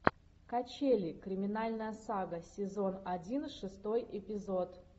качели криминальная сага сезон один шестой эпизод